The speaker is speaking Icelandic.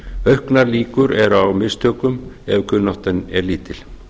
auknar líkur eru á mistökum ef kunnáttan er lítil